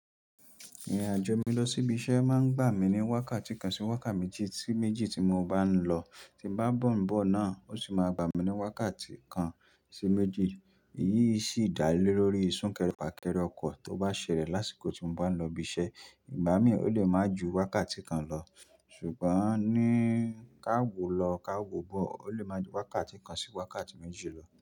Ìrìn àjò mi lọ sí ibi iṣẹ́ máa ń gbà mí ní wákàtí kan sí wákàtí méjì tí mo bá ń lọ. Tí n bá ń bọ̀ náà, ó ṣì máa gbà mí ní wákàtí kan sí méjì. Iyí sì dá lé lórí sunkerè fakere ọkọ̀ tó bá ṣẹlẹ̀ lásìkò tí mọ bá ń lọ ibi iṣẹ́. Ìgbà mí ò lé máa ju wákàtí kan lọ, ṣùgbọ́n ní ka wọ lọ ká wọ̀ bọ̀, ó lè máa ju wákàtí kan sí wákàtí méjì lọ.